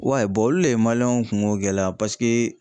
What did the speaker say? olu le ye w kungo gɛlɛya